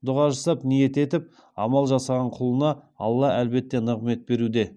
дұға жасап ниет етіп амал жасаған құлына алла әлбетте нығметін беруде